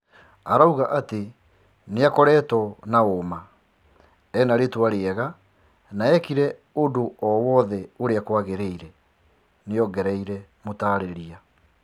"Areigwa ati niakoretwo wa uma , ena ritwa riega na ekire kira kindũ ũria kwagiriire," niongerera mũtarĩria